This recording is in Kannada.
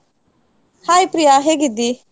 Hai ಪ್ರಿಯ ಹೇಗಿದ್ದಿ?